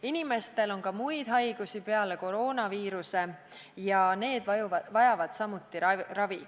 Inimestel on ka muid haigusi peale koroonaviiruse ja need vajavad samuti ravi.